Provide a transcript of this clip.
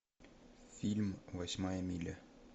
фильм восьмая миля